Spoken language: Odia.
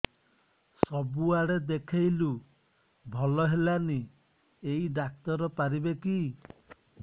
ସବୁଆଡେ ଦେଖେଇଲୁ ଭଲ ହେଲାନି ଏଇ ଡ଼ାକ୍ତର ପାରିବେ କି